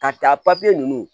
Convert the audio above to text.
Ka taa papiye ninnu